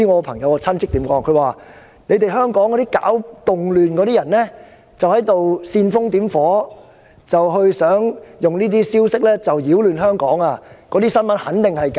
他說香港搞動亂的人在煽風點火，想利用這些消息擾亂香港，那些新聞肯定是假的。